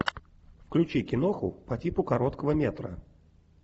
включи киноху по типу короткого метра